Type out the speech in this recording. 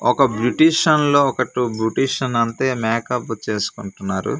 ఒక బ్యూటిషన్ లో ఒక టు బ్యూటిషన్ అంతే మేకపు చేస్కుంటున్నారు.